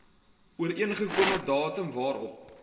ooreengekome datum waarop